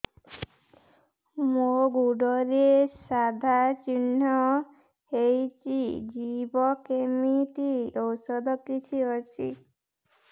ମୋ ଗୁଡ଼ରେ ସାଧା ଚିହ୍ନ ହେଇଚି ଯିବ କେମିତି ଔଷଧ କିଛି ଅଛି